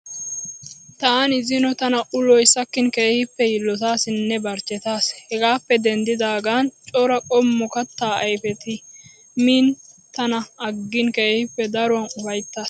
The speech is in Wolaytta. Taani zino tana uloyi sakkinn keehippe yiillotaasinne barichchetaas. Hegaappe deniddidaagan cora qommo kattaa ayifeti miin tana aggiin keehippe daruwaa ufayittaas.